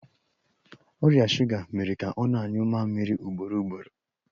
Ọrịa shuga mere ka ọ na-anyụ mamịrị ugboro ugboro.